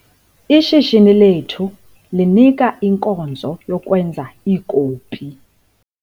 Ishishini lethu linika inkonzo yokwenza iikopi .